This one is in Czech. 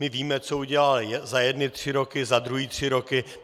My víme, co udělal za jedny tři roky, za druhé tři roky.